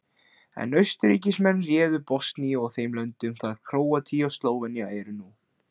En Austurríkismenn réðu Bosníu og þeim löndum þar sem Króatía og Slóvenía eru nú.